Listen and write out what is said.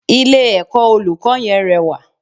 Ilé ẹ̀kọ́ olùkọ́ yẹn rẹwà